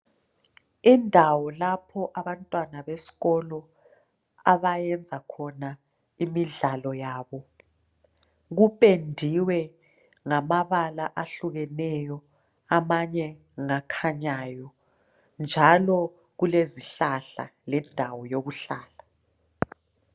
Indawo lapho abantwana besikolo lapho abayezakhona imidlalo yabo kupendiwe ngamabala ahlukeneyo amanye ngakhanyayo njalo kulezihlahla lendawo yokuhlala.